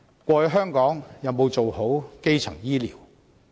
過去香港有沒有做好基層醫療呢？